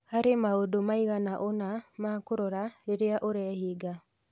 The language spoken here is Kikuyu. Harĩ maũndũ maigana ũna ma kũrora rĩrĩa ũreehinga